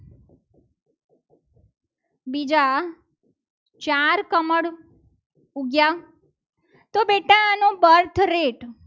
બીજા ચાર કમળ ઉગ્યા તો બેટા આનો birth rate